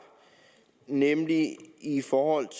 nemlig i forhold